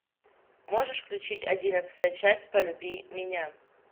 можешь включить одиннадцатая часть полюби меня